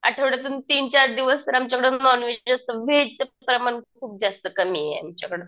आठवड्यातून तीनचार दिवस तर आमच्याकडं नोंव्हेजच असतं. व्हेजचं प्रमाण खूप जास्त कमी आहे आमच्याकडं.